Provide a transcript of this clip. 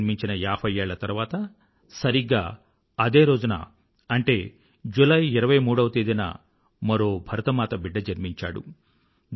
తిలక్ జన్మించిన ఏభై ఏళ్ల తరువాత సరిగ్గా అదే రోజున అంటే జులై ఇరవై మూడవ తేదీన మరో భరతమాత బిడ్డ జన్మించాడు